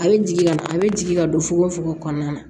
A bɛ jigin ka a bɛ jigin ka don fokon fogon kɔnɔna na